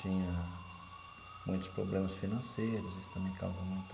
Tinha muitos problemas financeiros, isso também causa muito...